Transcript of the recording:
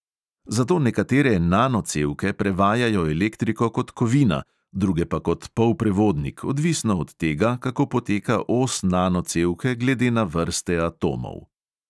Zato nekatere nanocevke prevajajo elektriko kot kovina, druge pa kot polprevodnik, odvisno od tega, kako poteka os nanocevke glede na vrste atomov.